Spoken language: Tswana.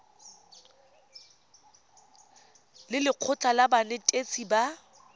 le lekgotlha la banetetshi ba